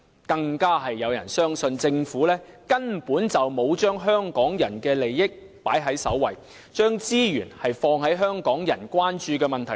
更有人相信，政府根本沒有把香港人的利益放在首位，沒有把資源放在香港人關注的問題上。